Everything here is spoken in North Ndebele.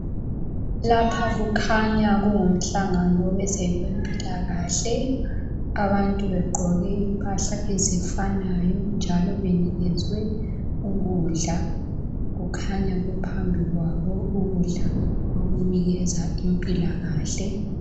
Lapha kukhanya kungumhlangano wezabempilakahle. Abantu begqoke impahla ezifanayo njalo benikezwe ukudla kukhanya kuphambi kwabo ukudla okunikeza impilakahle.